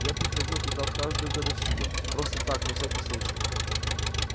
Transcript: я приходил туда в каждую годовщину просто так на всякий случай